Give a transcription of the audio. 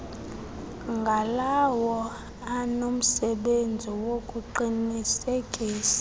ngalawo anomsebenzi wokuqinisekisa